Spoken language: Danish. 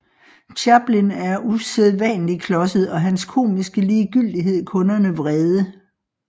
Chaplin er usædvanlig klodset og hans komiske ligegyldighed kunderne vrede